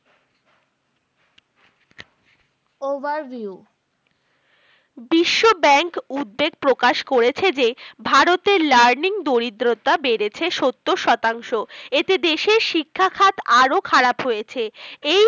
Overview বিশ্ব bank উদ্বেগ প্রকাশ করেছে যে ভারতের learning দরিদ্রতা বেরেছে সত্তর শতাংশ এতে দেশের শিক্ষাখাত আরো খারাপ হয়েছে এই